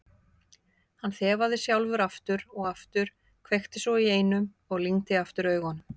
Hann þefaði sjálfur aftur og aftur, kveikti svo í einum og lygndi aftur augunum.